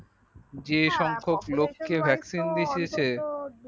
যে সংখ্যাক লোককে হ্যাঁ vactian অন্তত দিতেছে